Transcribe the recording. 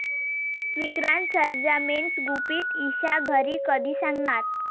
विक्रांत सरंजामेचं गुपित ईशा घरी कधी सांगणार?